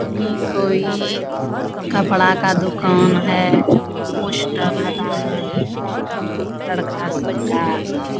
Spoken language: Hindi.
ई कोई कपड़ा का दुकान है | पोस्टर लगा है लड़का सब का |